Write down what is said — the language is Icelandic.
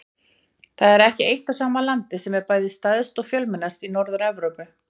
Það er ekki eitt og sama landið sem er bæði stærst og fjölmennast í Norður-Evrópu.